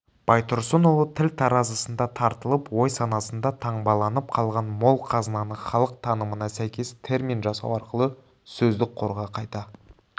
байтұрсынұлы тіл таразысында тартылып ой-санасында таңбаланып қалған мол қазынаны халық танымына сәйкес термин жасау арқылы сөздік қорға қайта